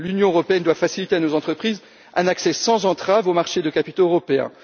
L'Union européenne doit faciliter à nos entreprises un accès sans entraves aux marchés de capitaux européens.